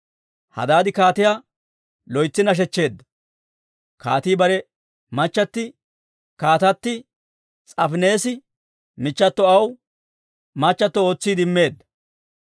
Hadaadi kaatiyaa loytsi nashechcheedda; kaatii bare machchatti, Kaatatti S'aafineesi michchato aw machchattio ootsiide immeedda.